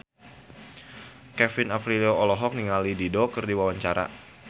Kevin Aprilio olohok ningali Dido keur diwawancara